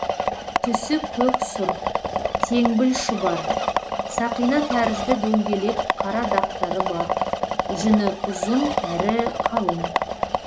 түсі көк сұр теңбіл шұбар сақина тәрізді дөңгелек қара дақтары бар жүні ұзын әрі қалың